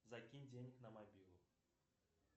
закинь денег на мобилу